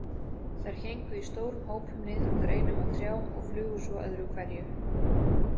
Þær héngu í stórum hópum niður úr greinum á trjám og flugu svo öðru hverju.